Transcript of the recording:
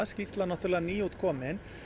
skýrslan er nýútkomin